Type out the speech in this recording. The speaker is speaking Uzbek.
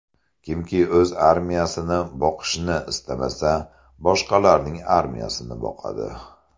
Kimki o‘z armiyasini boqishni istamasa, boshqalarning armiyasini boqadi.